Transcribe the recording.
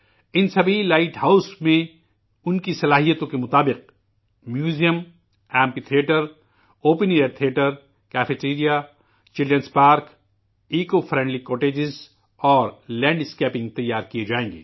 ان سبھی لائٹ ہاؤسوں میں ان کی صلاحیت کے مطابق museum, amphitheatre, open air theatre, cafeteria, children park, ماحول دوست جھونپڑیاں اور لینڈ اسکیپنگ تیار کیے جائیں گے